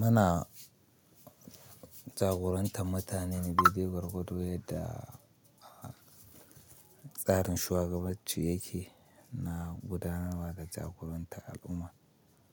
Muna jagorantar mutane ne dai dai gwargwado, yadda tsarin shugabancin yake na gudanarwa da jagorantar al'umma